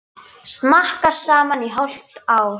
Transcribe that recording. Snakka saman í hálft ár.